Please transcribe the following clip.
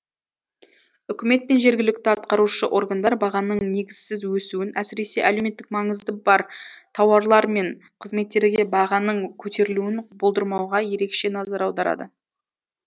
үкімет пен жергілікті атқарушы органдар бағаның негізсіз өсуін әсіресе әлеуметтік маңызды бар тауарлар мен қызметтерге бағаның көтерілуін болдырмауға ерекше назар аударады